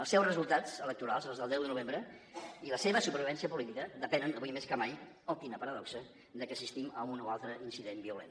el seus resultats electorals els del deu de novembre i la seva supervivència política depenen avui més que mai oh quina paradoxa de que assistim a un o altre incident violent